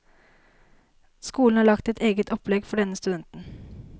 Skolen har laget et eget opplegg for denne studenten.